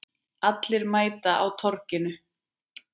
Allir mæta á Torginu